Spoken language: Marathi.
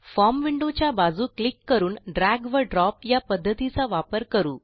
फॉर्म विंडो च्या बाजू क्लिक करून ड्रॅग व ड्रॉप या पध्दतीचा वापर करू